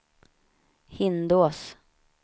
Hindås